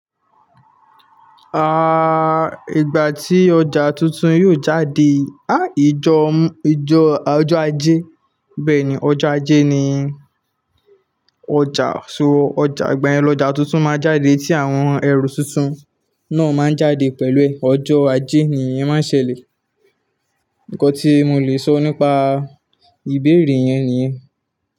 Ah, ìgbà tí ọjà tuntun yóò jáde, ah ìjọ, ìjọ ọjọ́ ajé. Bẹ́ẹ̀ni ọjọ́ ajé ni ọjà so ọjà ìgbà yẹ ni ọjà tuntun máa jáde tí àwọn ẹrù tuntun náà máa jáde pẹ̀lú ẹ̀. Ọjọ́ ajé nìyẹn máa ṣẹlẹ̀. Ǹkan tí mo lè sọ nípa ìbéèrè yẹn nìyẹn.